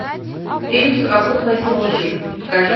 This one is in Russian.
фильм совокупность лжи покажи